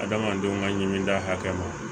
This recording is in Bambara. Adamadenw ka ɲimini da hakɛ ma